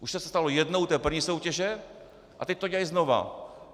Už se to stalo jednou u té první soutěže a teď to dělají znova.